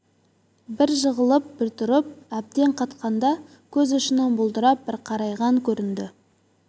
бңр жығылып бір тұрып әбден қатқанда көз ұшынан бұлдырап бір қарайған көрінді